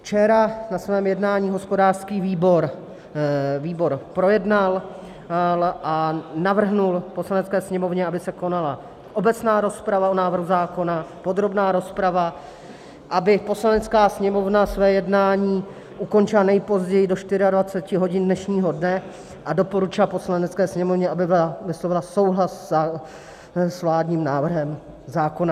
Včera na svém jednání hospodářský výbor projednal a navrhl Poslanecké sněmovně, aby se konala obecná rozprava o návrhu zákona, podrobná rozprava, aby Poslanecká sněmovna své jednání ukončila nejpozději do 24 hodin dnešního dne, a doporučil Poslanecké sněmovně, aby vyslovila souhlas s vládním návrhem zákona.